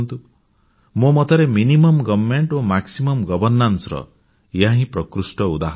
ମୋ ମତରେ ୟାର ଲକ୍ଷ୍ୟ ହେଉଛି ସର୍ବନିମ୍ନ ମୂଲ୍ୟ ଓ ସର୍ବାଧିକ ସୁବିଧାର ଏହାହିଁ ପ୍ରକୃଷ୍ଟ ଉଦାହରଣ